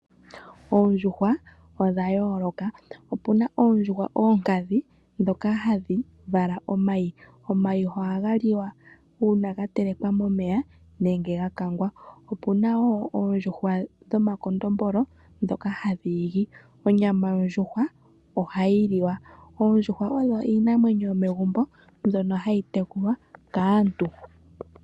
Oondjuhwa odha yooloka. Opuna oondjuhwa oonkadhi ndhoka hadhi vala omayi . Omayi ohaga liwa uuna ga telekwa momeya nenge ga kangwa. Opuna wo oondjuhwa dhomakondombolo ndhoka hadhi igi. Onyama yondjuhwa ohayi liwa. Oondjuhwa odho iinamwenyo yomegumbo mbyoka hayi tekulwa kaantu.